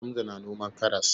Hamza na noman karas.